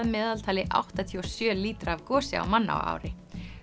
meðaltali áttatíu og sjö lítra af gosi á mann á ári